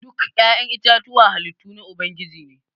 Duk ya'yan itatuwa halittu na ubangiji ne.